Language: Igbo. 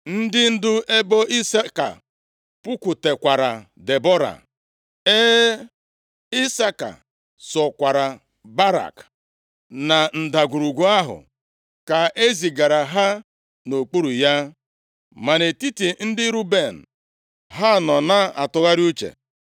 Ndị ndu ebo Isaka pụkwutekwara Debọra. E, Isaka sokwara Barak na ndagwurugwu ahụ ka ezigara ha nʼokpuru ya. Ma nʼetiti ndị Ruben, ha nọ na-atụgharị uche.